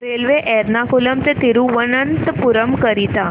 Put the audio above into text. railway Ernakulam ते थिरुवनंतपुरम करीता